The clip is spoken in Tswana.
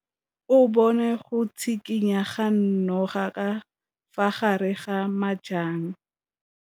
O bone go tshikinya ga noga ka fa gare ga majang.